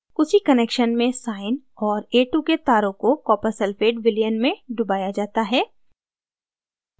उसी connection में sine और a2 के तारों को copper sulphate विलयन में डुबाया जाता है